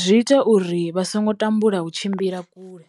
zwi ita uri vha songo tambula u tshimbila kule.